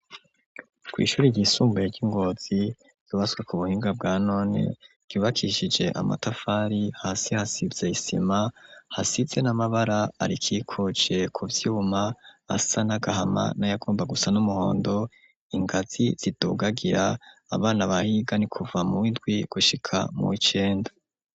kw'shure ryisumbuye ry'ingozi ryubatswe ku buhinga bwa none ryubakishije amatafari hasi hasize isima hasize n'amabara arikikuje ku vyuma ,hasa nagahama na yagomba gusa n'umuhondo, ingazi zidugagira abana bahiga ni kuva mu windwi gushika muw'icenda.